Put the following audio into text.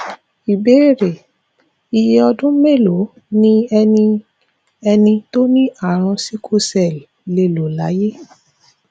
ìbéèrè iye odun melo ni eni eni tó ní àrùn sickle cell le lo laye